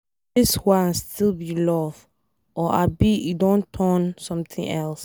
Dis one still be love or abi e don turn something else?